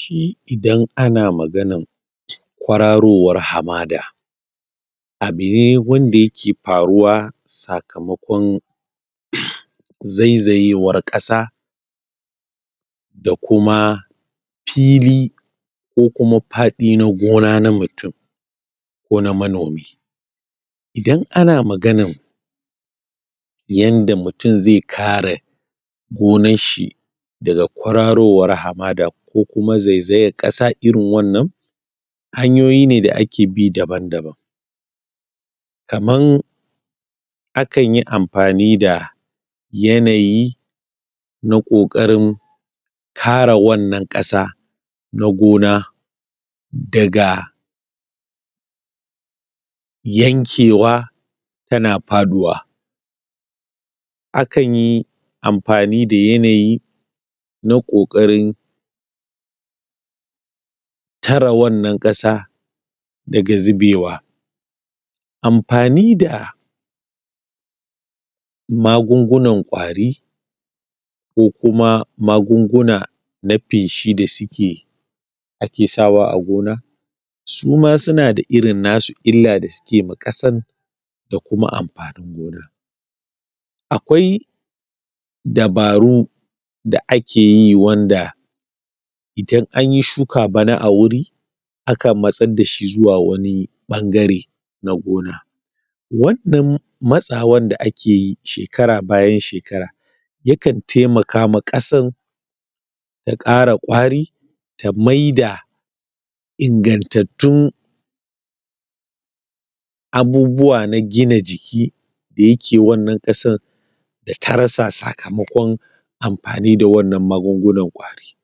Shi idan ana maganan kwararowar hamada abu ne wanda yake faruwa sakamakon um zaizayewar ƙasa da kuma fili ko kuma faɗi na gona na mutum ko na manomi idan ana maganan yanda mutum zai kare gonar shi daga kwararowar hamada, ko kuma zaizayar ƙasa irin wannan hanyoyi ne da ake bi daban-daban kaman akan yi amfani da yanayi na ƙoƙarin kare wannan ƙasa na gona daga yankewa tana faɗuwa akan yi amfani da yanayi na ƙoƙarin tare wannan ƙasa daga zubewa amfani da magungunan ƙwari ko kuma magunguna na feshi da suke ake sawa a gona suma suna da irin nasu illa da suke ma ƙasan da kuma amfanin gona akwai dabaru da akeyi wanda idan anyi shuka bana a wuri akan matsar dashi zuwa wani ɓangare na gona wannan matsawar da akeyi shekara bayan shekara yakan taimaka ma ƙasan ya ƙara ƙwari ta maida ingantattun abubuwa na gina jiki da yake wannan ƙasan da ta rasa sakamakon amfani da wannan magungunan ƙwari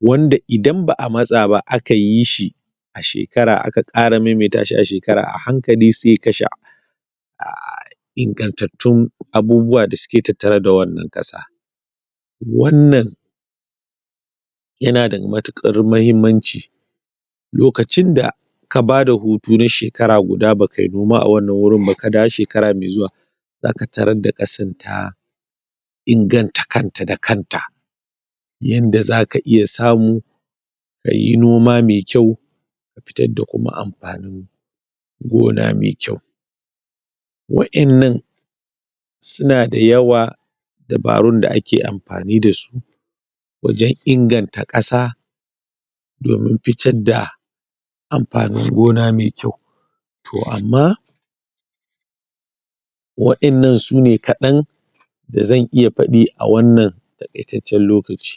wanda idan ba'a matsa ba aka yi shi a shekara, aka ƙara maimaita shi a shekara,a hankali sai ya kashe um ingantattun abubuwa da suke tattare da wannan ƙasa wannan yana da mutuƙar muhimmanci lokacin da ka bada hutu na shekara guda ba kai noma a wannan wurin ba, ka dawo shekara mai zuwa zaka taran da ƙasan ta inganta kanta da kanta yanda zaka iya samu kayi noma me kyau ka fitar da kuma amfanin gona me kyau waƴannan suna da yawa dabarun da ake amfani dasu wajen inganta ƙasa domin fitar da amfanin gona me kyau to amma waƴannan sune kaɗan da zan iya faɗi a wannan taƙaitaccen lokaci